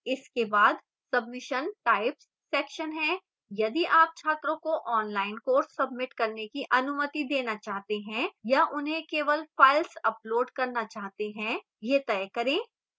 इसके बाद submission types section है यदि आप छात्रों को online कोर्स सबमिट करने की अनुमति देना चाहते हैं या उन्हें केवल files upload करना चाहते हैं यह तय करें